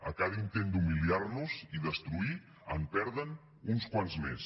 a cada intent d’humiliar nos i destruir en perden uns quants més